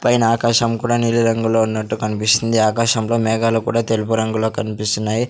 పైన ఆకాశం కూడా నీలిరంగులో ఉన్నట్టు కనిపిస్తుంది ఆకాశంలో మేఘాలు కూడా తెలుపు రంగులో కనిపిస్తున్నాయి--